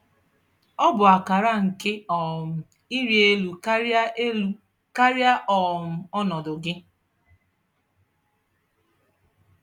Ọ bụ akara nke um ịrị elu karịa elu karịa um ọnọdụ gị.